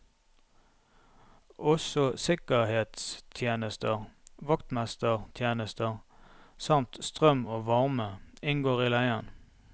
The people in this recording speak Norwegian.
Også sikkerhetstjenester, vaktmestertjenester samt strøm og varme inngår i leien.